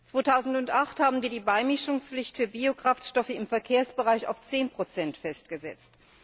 2008 haben wir die Beimischungspflicht für Biokraftstoffe im Verkehrsbereich auf 10 festgesetzt.